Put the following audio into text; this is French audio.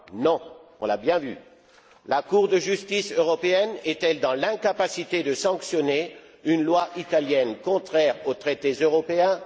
Non, on l'a bien vu. La Cour de justice européenne est elle dans l'incapacité de sanctionner une loi italienne contraire aux traités européens?